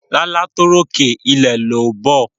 Lálá tó ròkè ilẹ̀ ló bọ̀